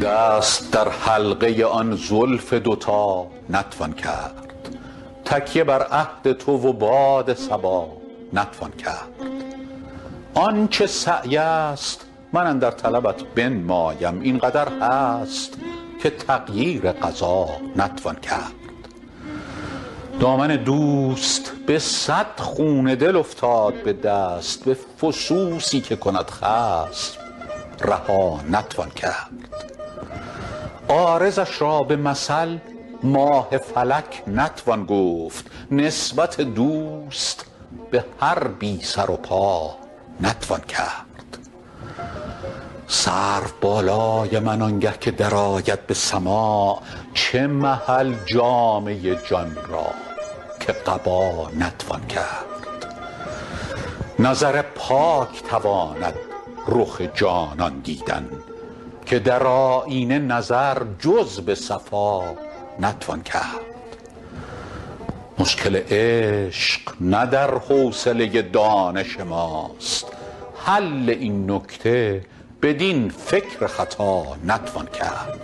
دست در حلقه آن زلف دوتا نتوان کرد تکیه بر عهد تو و باد صبا نتوان کرد آن چه سعی است من اندر طلبت بنمایم این قدر هست که تغییر قضا نتوان کرد دامن دوست به صد خون دل افتاد به دست به فسوسی که کند خصم رها نتوان کرد عارضش را به مثل ماه فلک نتوان گفت نسبت دوست به هر بی سر و پا نتوان کرد سرو بالای من آنگه که درآید به سماع چه محل جامه جان را که قبا نتوان کرد نظر پاک تواند رخ جانان دیدن که در آیینه نظر جز به صفا نتوان کرد مشکل عشق نه در حوصله دانش ماست حل این نکته بدین فکر خطا نتوان کرد